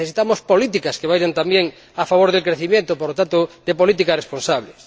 Necesitamos políticas que vayan también a favor del crecimiento, por lo tanto, políticas responsables.